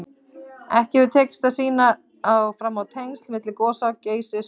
Ekki hefur tekist að sýna fram á tengsl milli gosa Geysis og